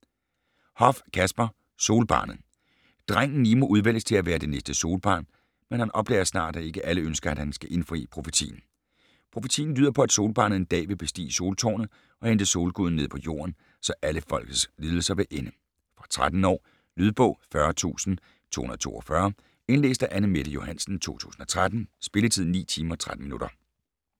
Hoff, Kasper: Solbarnet Drengen Nimo udvælges til at være det næste Solbarn, men han opdager snart, at ikke alle ønsker, at han skal indfri profetien. Profetien lyder på at Solbarnet en dag vil bestige Soltårnet og hente solguden ned på jorden, så alle folkets lidelser vil ende. Fra 13 år. Lydbog 40242 Indlæst af Anne-Mette Johansen, 2013. Spilletid: 9 timer, 13 minutter.